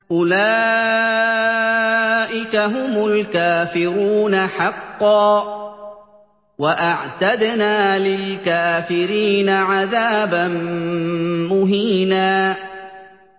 أُولَٰئِكَ هُمُ الْكَافِرُونَ حَقًّا ۚ وَأَعْتَدْنَا لِلْكَافِرِينَ عَذَابًا مُّهِينًا